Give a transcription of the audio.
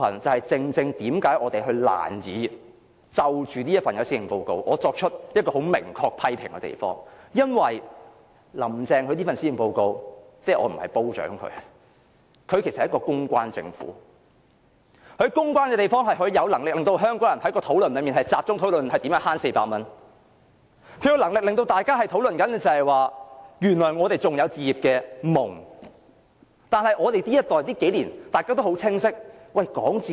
這正是我們難以就這份施政報告作出明確批評的原因，因為"林鄭"這份施政報告，我不是誇獎她，她其實是一個公關政府，她善於公關的地方，是她有能力令香港人的討論焦點放到如何節省400元，她有能力令大家討論原來我們還有置業夢，但我們這一代要在這數年討論置業？